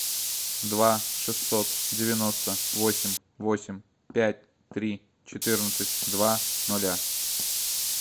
два шестьсот девяносто восемь восемь пять три четырнадцать два нуля